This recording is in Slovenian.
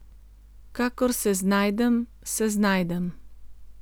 Kakor se znajdem, se znajdem.